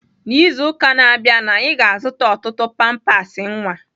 N'izu ụka na-abịa, anyị ga-azụta ọtụtụ pampers nwa.